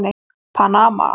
Panama